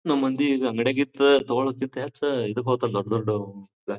ನಮ್ಮ್ ಮಂದಿ ಈಗ ಅಂಗಡ್ಯಗಿಂದ ತಗಳೊಕಿಂತ ಹೆಚ್ಚ ಇದಕ್ಕೆ ಹೋಗ್ತಾರೆ ದೊಡ್ ದೊಡ್ಡ--